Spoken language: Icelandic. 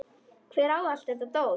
Hver á allt þetta dót?